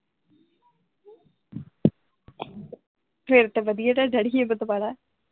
ਫੇਰ ਤੇ ਵਧੀਆ ਤੁਹਾਡਾ ਡੈਡੀ ਹਿੰਮਤ ਵਾਲਾ।